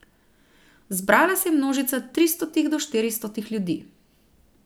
Zbrala se je množica tristotih do štiristotih ljudi.